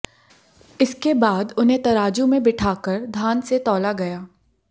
इसके बाद उन्हें तराजू में बिठाकर धान से तौला गया